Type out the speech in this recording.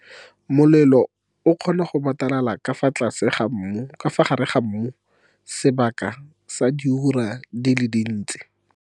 Molelo o kgona go batalala ka fa gare ga mmu sebaka sa diura di le dintsi.